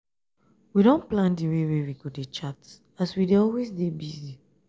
we don plan di dey wey we go dey chat as we dey always dey busy.